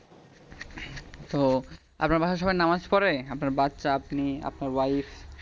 তো আপনার বাসায় সবাই নামাজ পড়ে? আপনার বাচ্চা, আপনি, আপনার wife